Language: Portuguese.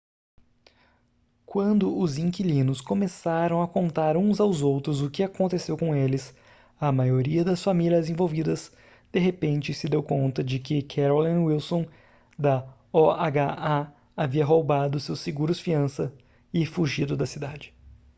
quando os inquilinos começaram a contar uns aos outros o que aconteceu com eles a maioria das famílias envolvidas de repente se deu conta de que carolyn wilson da oha havia roubado seus seguros-fiança e fugido da cidade